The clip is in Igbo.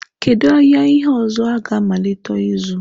Kedu ahịa ihe ọzọ ọ ga-amalite ịzụ?